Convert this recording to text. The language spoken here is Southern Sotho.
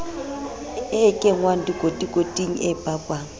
e kenngwang dikotikoting e pakwang